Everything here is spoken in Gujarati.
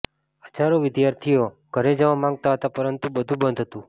હજારો વિદ્યાર્થીઓ ઘરે જવા માંગતા હતાં પરંતુ બધુ બંધ હતું